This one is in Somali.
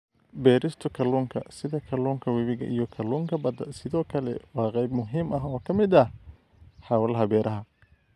Beerista kalluunka, sida kalluunka webiga iyo kalluunka badda, sidoo kale waa qayb muhiim ah oo ka mid ah hawlaha beeraha.